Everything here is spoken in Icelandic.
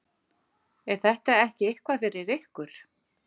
Er þetta ekki eitthvað fyrir ykkur